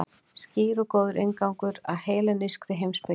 Skýr og góður inngangur að hellenískri heimspeki.